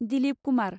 Dilip Kumar